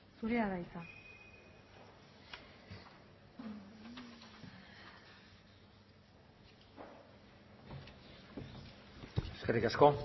zurea da hitza eskerrik asko